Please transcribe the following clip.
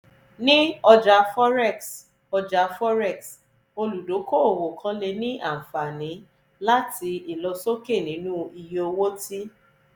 ni ọja forex ọja forex oludokoowo kan le ni anfani lati ilosoke ninu iye owo ti